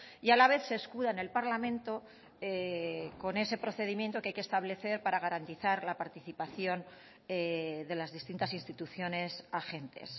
y a la vez se escuda en el parlamento con ese procedimiento que hay que establecer para garantizar la participación de las distintas instituciones agentes